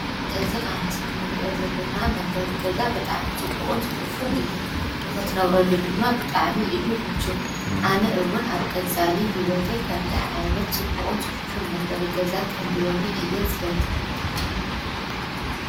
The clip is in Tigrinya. እዚ አብ ምስሊ እንሪኦ ዘለና መንበሪ ገዛ ብጣዕሚ ፅቡቅን ፅፉፍን እዩ፡፡ ንኽትነብረሉ ድማ ብጣዕሚ እዩ ምችው ፡፡ አነ እውን አብ ቀፃሊ ሂወተይ ከምዚ ዓይነት ፅቡቅን ፅፉፍን መንበሪ ገዛ ክህልወኒ እየ ዝደሊ፡፡